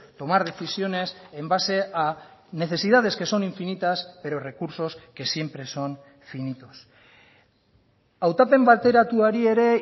tomar decisiones en base a necesidades que son infinitas pero recursos que siempre son finitos hautapen bateratuari ere